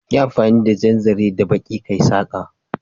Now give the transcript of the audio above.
Yi amfani da jan zaren da baƙi kayi saƙa